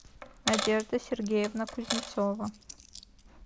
надежда сергеевна кузнецова